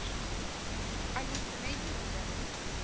алиса найди ужастик